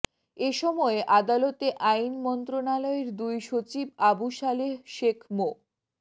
এ সময় আদালতে আইন মন্ত্রণালয়ের দুই সচিব আবু সালেহ শেখ মো